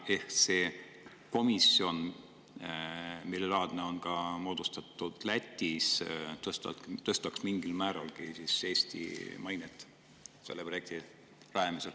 Ehk see komisjon, samalaadne on moodustatud ju ka Lätis, tõstaks mingilgi määral Eesti mainet selle rajamisel.